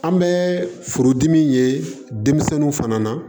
An bɛ furudimi ye denmisɛnninw fana na